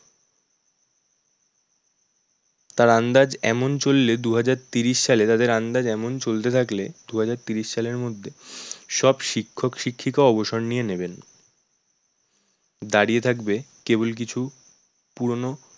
তার আন্দাজ এমন চললে দু হাজার তিরিশ সালে তাদের আন্দাজ এমন চলতে থাকলে দু হাজার তিরিশ সালের মধ্যে সব শিক্ষক-শিক্ষিকা অবসর নিয়ে নেবেন। দাঁড়িয়ে থাকবে কেবল কিছু পুরানো